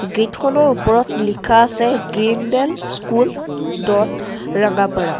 গেটখনৰ ওপৰত লিখা আছে Green Dale School dot Rangapara.